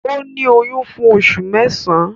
Ó ní oyún fún oṣù mẹ́sàán